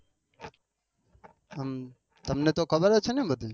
તમને તો ખબર જ છે ને બધી